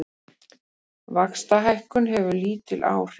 Vaxtahækkun hefur lítil áhrif